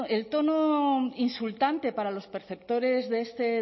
el tono insultante para los perceptores de este